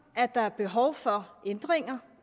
at der er behov for ændringer